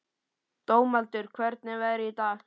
Dómaldur, hvernig er veðrið í dag?